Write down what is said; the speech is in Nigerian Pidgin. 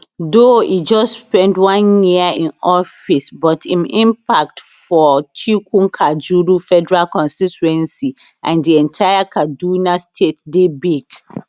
though e just spend one year in office but im impact for chikunkajuru federal constituency and di entire kaduna state dey big